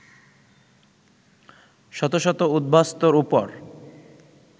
শত শত উদ্বাস্তুর ওপর